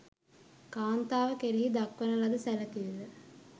කාන්තාව කෙරෙහි දක්වන ලද සැලකිල්ල